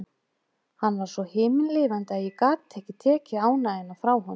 Hann varð svo himinlifandi að ég gat ekki tekið ánægjuna frá honum.